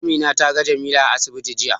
Amina ta ga Jamila a asibiti jiya.